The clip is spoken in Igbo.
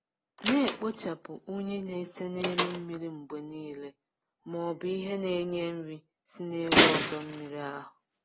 Na-ekpochapụ unyi na-ese n'elu mmiri mgbe niile ma ọ bụ ihe na-enye nri si n'elu ọdọ mmiri ahụ.